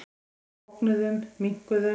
Við bognuðum, minnkuðum.